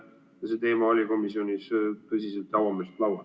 See teema oli komisjonis tõsiselt ja avameelselt laual.